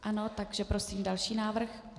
Ano, takže prosím další návrh.